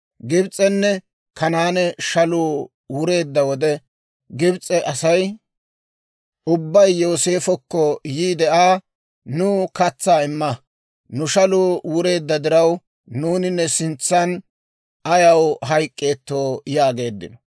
Gibs'enne Kanaane shaluu wureedda wode, Gibs'e Asay ubbay Yooseefokko yiide Aa, «Nuw katsaa imma; nu shaluu wureedda diraw, nuuni ne sintsan ayaw hayk'k'eettoo?» yaageeddino.